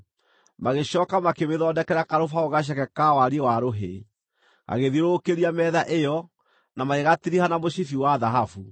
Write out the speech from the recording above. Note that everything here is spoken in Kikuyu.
Magĩcooka makĩmĩthondekera karũbaũ gaceke ka wariĩ wa rũhĩ, gagĩthiũrũrũkĩria metha ĩyo, na magĩgatiriha na mũcibi wa thahabu.